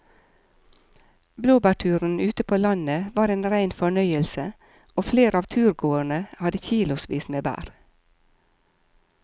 Blåbærturen ute på landet var en rein fornøyelse og flere av turgåerene hadde kilosvis med bær.